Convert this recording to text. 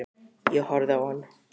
Ég horfði á hann.